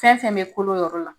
Fɛn fɛn be kolon yɔrɔ la